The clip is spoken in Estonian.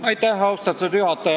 Austatud juhataja!